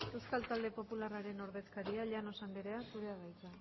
euskal talde popularraren ordezkaria llanos andrea zurea da hitza